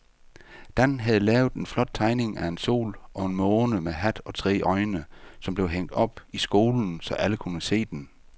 Dan havde lavet en flot tegning af en sol og en måne med hat og tre øjne, som blev hængt op i skolen, så alle kunne se den.